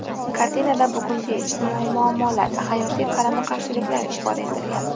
Kartinada bugungi ijtimoiy muammolar, hayotiy qarama-qarshiliklar ifoda etilgan.